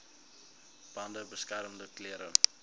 bande beskermende klere